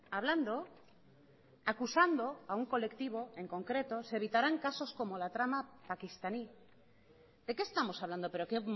hablando acusando a un colectivo en concreto se evitarán casos como la trama paquistaní de qué estamos hablando pero qué